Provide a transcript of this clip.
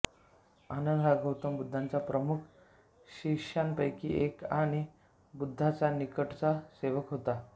आनंद हा गौतम बुद्धाच्या प्रमुख शिष्यांपैकी एक आणि बुद्धाचा निकटचा सेवक होता